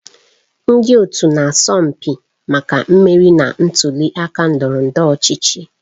Ndị otu na-asọ mpi maka mmeri na ntuli aka ndọrọ ndọrọ ọchịchị.